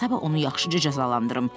Gərək sabah onu yaxşıca cəzalandırım.